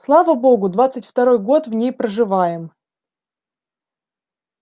слава богу двадцать второй год в ней проживаем